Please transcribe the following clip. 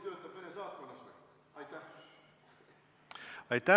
Lõpetame selle küsimuse käsitlemise.